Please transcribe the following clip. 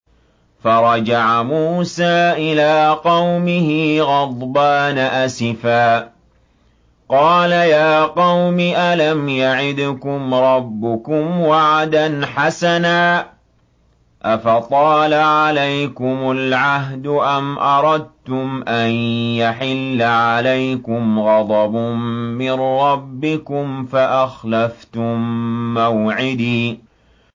فَرَجَعَ مُوسَىٰ إِلَىٰ قَوْمِهِ غَضْبَانَ أَسِفًا ۚ قَالَ يَا قَوْمِ أَلَمْ يَعِدْكُمْ رَبُّكُمْ وَعْدًا حَسَنًا ۚ أَفَطَالَ عَلَيْكُمُ الْعَهْدُ أَمْ أَرَدتُّمْ أَن يَحِلَّ عَلَيْكُمْ غَضَبٌ مِّن رَّبِّكُمْ فَأَخْلَفْتُم مَّوْعِدِي